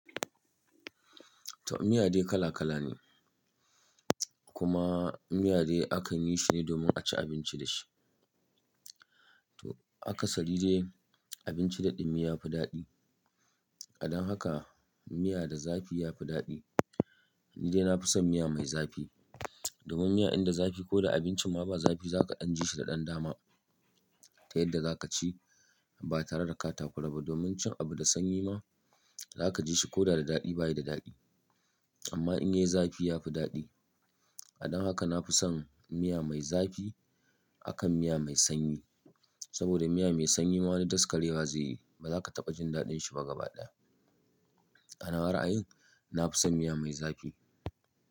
To, miya dai kala kala ne, kuma miya dai akan yi shine domin a ci abinci da shi. To akasari dai abinci da ɗumi yafi daɗi. Dan haka miya da zafi yafi daɗi. Ni dai na fi son miya mai zafi. Domin miya in da zafi ko da abincin ma ba zafi zaka ɗan ji shi da ɗan dama. Ta yadda zaka ci ba tare da ka takura ba. Domin cin abu da sanyi ma zaka ji shi ko da da daɗi bayi da daɗi. Amma in yayi zafi yafi daɗi. Dan haka na fi son miya mai zafi akan miya mai sanyi. Saboda miya mai sanyi ma wani daskarai ba zai yi ba. Zaka taɓa jin daɗin shi ba gaba ɗaya. A nawa ra'ayin na fi son miya mai zafi.